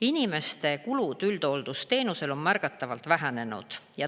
Inimeste kulud üldhooldusteenusel on märgatavalt vähenenud.